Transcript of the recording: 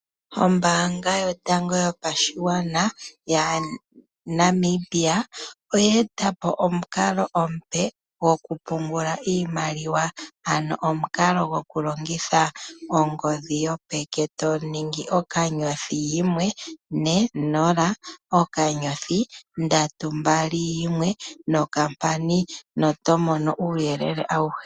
Ombaanga yotango yopashigwana yaNamibia oya etapo omukalo omupe goku pungula iimaliwa. Ano omukalo goku longitha ongodhi yopeke, toningi ookanyothi yimwe ne nola, okanyothi ndatu mbali yimwe nokampani noto mono uuyelele awuhe.